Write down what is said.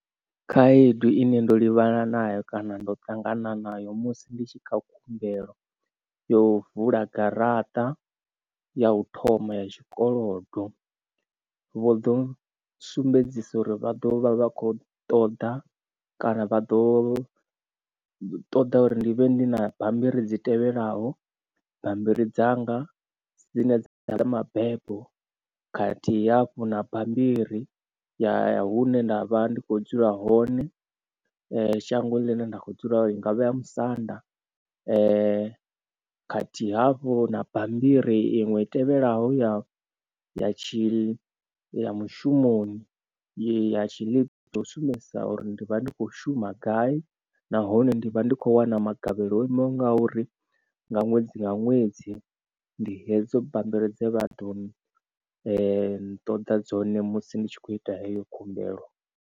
Khaedu ine ndo livhana nayo kana ndo ṱangana nayo musi ndi tshi kha khumbelo yo vula garaṱa ya u thoma ya tshikolodo vho ḓo sumbedzisa uri vha ḓo vha vha kho ṱoḓa kana vha ḓo ṱoḓa uri ndi vhe ndi na bammbiri dzi tevhelaho. Bambiri dzanga dzine dza ḓala mabebo khathihi hafhu na bammbiri ya hune nda vha ndi kho dzula hone shango ḽine nda kho dzula i ngavha ya musanda khathihi hafhu na bammbiri iṅwe i tevhelaho ya ya tshi ya mushumoni ya tshi yo sumbedzisa uri ndi vha ndi kho shuma gai nahone ndi vha ndi khou wana magavhelo o imaho nga uri nga ṅwedzi nga ṅwedzi ndi hedzo bambiri dze vha ḓo nṱoḓa dzone musi ndi tshi khou ita heyo khumbelo.